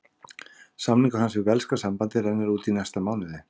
Samningur hans við velska sambandið rennur út í næsta mánuði.